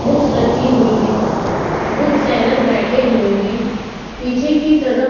books रखी हुई है बुक सेलर बैठे हुए है पीछे की तरफ--